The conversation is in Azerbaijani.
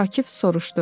Akif soruşdu: